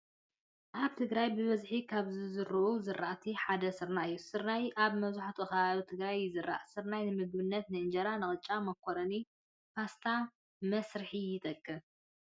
ኣብ ትግራይ ብበዝሒ ካብ ዝዝርኡ ዝራእቲ ሓደ ስርናይ እዩ። ስርናይ ኣብ መብዛሕቲኡ ከባቢታት ትግራይ ይዝራእ። ስርናይ ንምግብታት እንጀራ፣ ቅጫ፣ ሞኮረንን ፓስታን መስርሒ ይጠቅም።